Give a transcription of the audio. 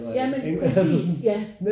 Ja men præcis ja